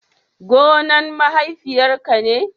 gonna mahaifiya ka ne?